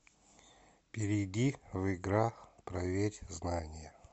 перейди в игра проверь знания